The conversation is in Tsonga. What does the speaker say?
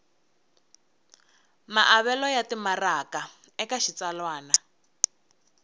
maavelo ya timaraka eka xitsalwana